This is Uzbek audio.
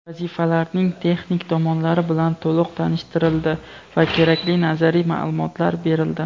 vazifalarning texnik tomonlari bilan to‘liq tanishtirildi va kerakli nazariy ma’lumotlar berildi.